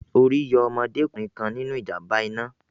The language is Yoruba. Orí yọ ọmọdé kùnrin kan nínu ìjàm̀ba iná